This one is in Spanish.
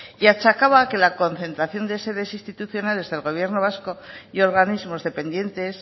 y achacaba a que la concentración de sedes institucionales del gobierno vasco y organismos dependientes